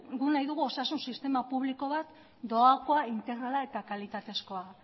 guk nahi dugu osasun sistema publiko bat doakoa integrala eta kalitatezkoa